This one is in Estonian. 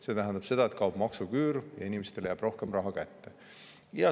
See tähendab seda, et kaob maksuküür ja inimestele jääb rohkem raha kätte.